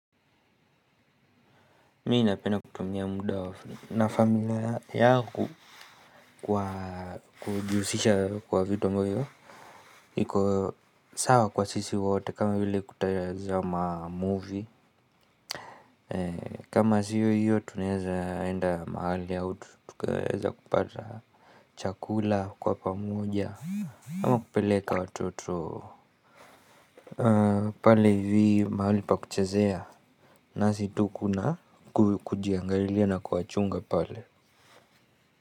Mii napenda kutumia muda na familia yaku kwa kujuhusisha kwa vito ambavyo iko sawa kwa sisi wote kama hile kutayazama movie. Kama siyo hiyo tuneeza enda mahali ya utu. Tukueza kupata chakula kwa pamoja. Kama kupeleka watoto pale hivi mahali pa kuchezea. Nasitu kuna kujiangarilia na kuwachunga pale.